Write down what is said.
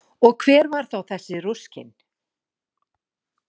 Og hver var þá þessi Ruskin?